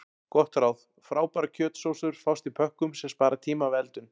Gott ráð: Frábærar kjötsósur fást í pökkum sem spara tíma við eldun.